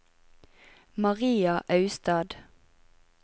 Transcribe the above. Maria Austad